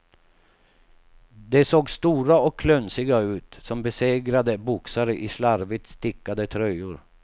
De såg stora och klunsiga ut, som besegrade boxare i slarvigt stickade tröjor.